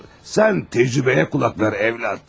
Sən təcrübəyə qulaq as, oğul.